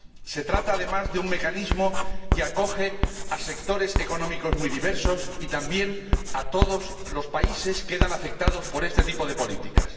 Se trata, además, de un mecanismo que acoge a sectores económicos muy diversos, y todos los países quedan afectados por este tipo de políticas.